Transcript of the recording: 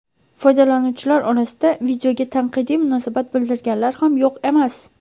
Foydalanuvchilar orasida videoga tanqidiy munosabat bildirganlar ham yo‘q emas.